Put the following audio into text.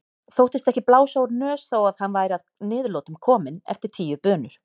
Þóttist ekki blása úr nös þó að hann væri að niðurlotum kominn eftir tíu bunur.